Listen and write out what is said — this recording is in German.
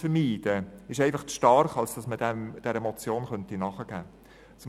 Das Argument ist einfach zu stark, als dass man dieser Motion nachgeben könnte.